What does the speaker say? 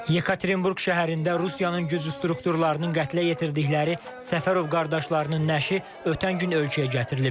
Yekaterinburq şəhərində Rusiyanın güc strukturlarının qətlə yetirdikləri Səfərov qardaşlarının nəşi ötən gün ölkəyə gətirilib.